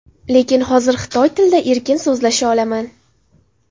Lekin hozir xitoy tilida erkin so‘zlasha olaman.